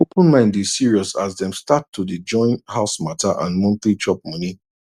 open mind dey serious as dem start to day join house matter and monthly chop money